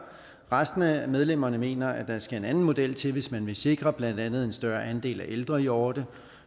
resten af medlemmerne mener at der skal en anden model til hvis man vil sikre blandt andet en større andel af ældre hjorte